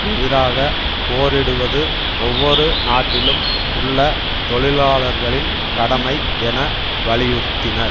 எதிராக போரிடுவது ஒவ்வொரு நாட்டிலும் உள்ள தொழிலாளர்களின் கடமை என வலியுறுத்தினர்